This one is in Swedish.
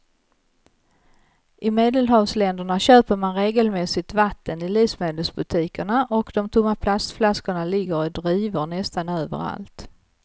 I medelhavsländerna köper man regelmässigt vatten i livsmedelsbutikerna och de tomma plastflaskorna ligger i drivor nästan överallt.